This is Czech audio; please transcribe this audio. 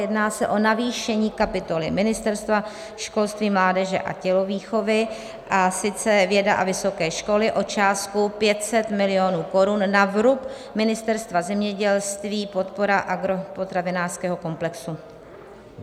Jedná se o navýšení kapitoly Ministerstva školství, mládeže a tělovýchovy, a sice věda a vysoké školy, o částku 500 milionů korun na vrub Ministerstva zemědělství, podpora agropotravinářského komplexu.